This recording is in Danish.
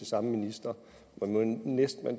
samme minister